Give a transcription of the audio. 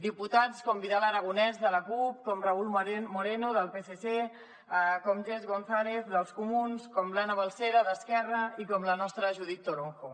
diputats com vidal aragonés de la cup com raúl moreno del psc com jess gonzález dels comuns com l’ana balsera d’esquerra i com la nostra judith toronjo